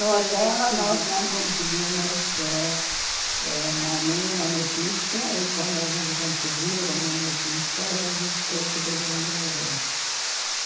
Foram vencidos a guerra, nós não conseguimos ãh ãh nenhuma notícia, e quando a gente conseguiu uma notícia, a gente soube que todo mundo morreu.